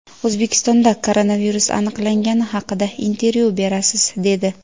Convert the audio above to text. O‘zbekistonda koronavirus aniqlangani haqida intervyu berasiz, dedi.